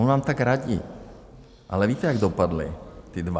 On vám tak radí, ale víte, jak dopadli ti dva?